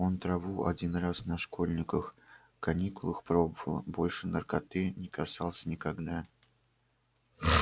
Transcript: он траву один раз на школьниках каникулах пробовал больше наркоты не касался никогда